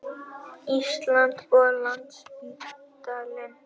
Íslands og Landspítalann.